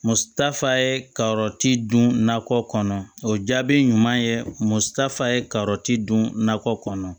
Mutafa ye ka yɔrɔ ti dun nakɔ kɔnɔ o jaabi ɲuman ye muso ta fa ye ka yɔrɔ ti dun nakɔ kɔnɔ